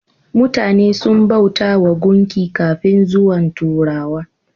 Mutane sun bautawa gunki kafin zuwan turawa.